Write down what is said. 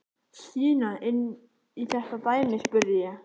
Stína inn í þetta dæmi? spurði ég.